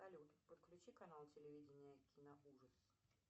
салют подключи канал телевидения киноужас